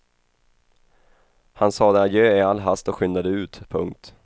Han sade adjö i all hast och skyndade ut. punkt